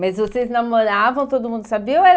Mas vocês namoravam, todo mundo sabia? Ou era